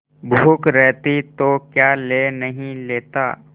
भूख रहती तो क्या ले नहीं लेता